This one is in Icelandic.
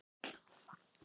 Snéru ógæfunni í fögnuð